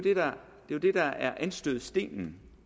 jo det der er anstødsstenen